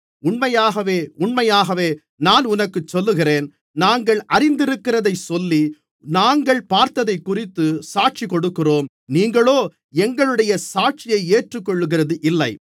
உண்மையாகவே உண்மையாகவே நான் உனக்குச் சொல்லுகிறேன் நாங்கள் அறிந்திருக்கிறதைச் சொல்லி நாங்கள் பார்த்ததைக்குறித்துச் சாட்சி கொடுக்கிறோம் நீங்களோ எங்களுடைய சாட்சியை ஏற்றுகொள்ளுகிறது இல்லை